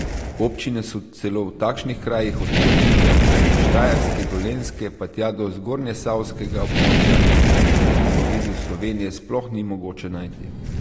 Občine so celo v takšnih krajih od Prekmurja prek Štajerske, Dolenjske pa tja do zgornjesavskega območja, ki jih na zemljevidu Slovenije sploh ni mogoče najti!